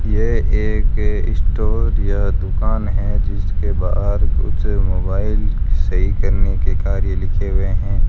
यह एक स्टोर या दुकान है जिसके बाहर कुछ मोबाइल सही करने के कार्य लिखे हुए हैं।